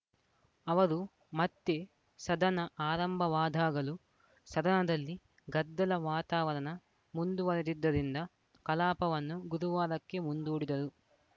ಅವರು ಮತ್ತೆ ಸದನ ಆರಂಭವಾದಾಗಲೂ ಸದನದಲ್ಲಿ ಗದ್ದಲ ವಾತಾವರಣ ಮುಂದುವರೆದಿದ್ದರಿಂದ ಕಲಾಪವನ್ನು ಗುದುವಾರಕ್ಕೆ ಮುಂದೂಡಿದರು